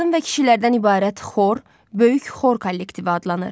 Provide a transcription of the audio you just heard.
Qadın və kişilərdən ibarət xor böyük xor kollektivi adlanır.